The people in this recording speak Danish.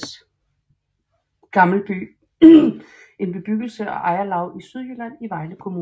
Gammelby en bebyggelse og ejerlav i Sydjylland i Vejle Kommune